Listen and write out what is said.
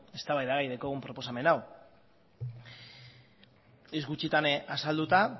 eztabaidagai daukagun proposamen hau hitz gutxitan azalduta